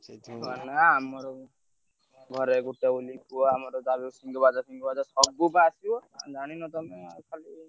ଆମର ଘରେ ଗୋଟେ ବୋଲି ପୁଅ ଆମର ଯାହାବି ହଉ ସବୁ ବା ଆସିବ ଜାଣିନ ତମେ ଖାଲି।